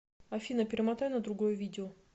афина перемотай на другое видео